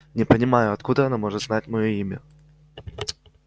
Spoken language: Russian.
не понимаю откуда она может знать моё имя